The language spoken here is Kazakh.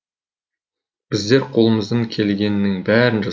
біздер қолымыздан келгеннің бәрін жасадық